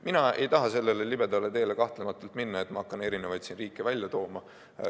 Mina ei taha sellele libedale teele kahtlematult minna, et ma hakkan eri riike siin välja tooma.